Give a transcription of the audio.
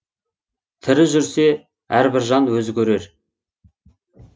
тірі жүрсе әрбір жан өзі көрер